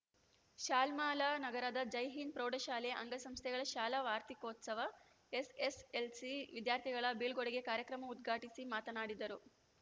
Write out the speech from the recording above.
ಶಾಲ್ಮಲಾನಗರದ ಜೈಹಿಂದ್ ಪ್ರೌಢಶಾಲೆ ಅಂಗ ಸಂಸ್ಥೆಗಳ ಶಾಲಾ ವಾರ್ತಿಕೋತ್ಸವ ಎಸ್ಎಸ್ಎಲ್ಸಿ ವಿದ್ಯಾರ್ಥಿಗಳ ಬೀಳ್ಕೊಡುಗೆ ಕಾಯಕ್ರಮ ಉದ್ಘಾಟಿಸಿ ಮಾತನಾಡಿದರು